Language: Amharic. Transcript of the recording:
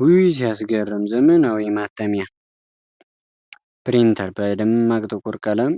ውይ ሲያስገርም! ዘመናዊው ማተሚያ (ፕሪንተር) በደማቅ ጥቁር ቀለም